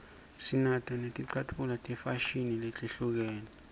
sinato netlcatfulo tefashini letehlukene